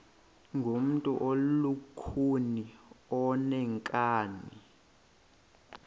ngumntu olukhuni oneenkani